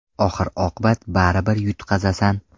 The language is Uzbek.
Oxir-oqibat baribir yutqazasan.